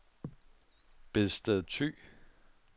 Bedsted Thy